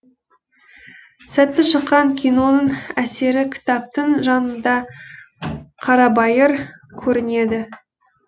сәтті шыққан киноның әсері кітаптың жанында қарабайыр көрінеді